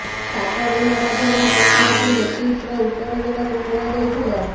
ସାତ ଦିନ ମଧ୍ୟରେ ସେମାନଙ୍କୁ ନୋଟିସର ଉତ୍ତର ଦେବାକୁ କୁହାଯାଇଥିଲା